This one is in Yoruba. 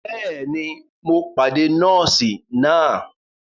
Bẹẹni, Mó pàdé nọọsi náà